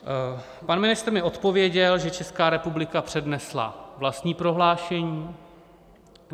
Pan ministr mi odpověděl, že Česká republika přednesla vlastní prohlášení.